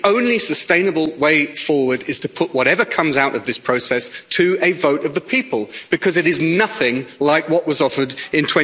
The only sustainable way forward is to put whatever comes out of this process to a vote of the people, because it is nothing like what was offered in